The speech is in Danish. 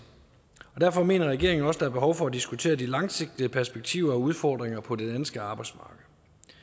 derfor mener regeringen også er behov for at diskutere de langsigtede perspektiver og udfordringer på det danske arbejdsmarked